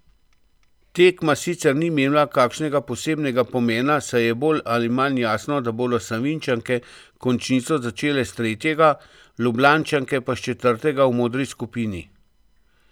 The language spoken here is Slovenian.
Tekma sicer ni imela kakšnega posebnega pomena, saj je bolj ali manj jasno, da bodo Savinjčanke končnico začele s tretjega, Ljubljančanke pa s četrtega v modri skupini.